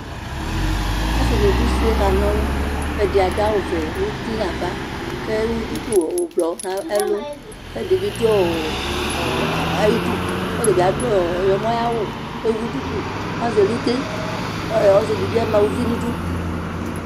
Asi ni dʋ usi kakanɔlʋƐdi adʋ awu vɛ ŋuti navaKʋ ɛwu duku ublɔ nɛlʋkʋ ɛdibi dʋ ɔɔɔ ayiduɔtabi adʋ aɣlɔmɔ ayawu , kewuɖuku, kazɛluteKʋ ɔsidibi ama uvi nidu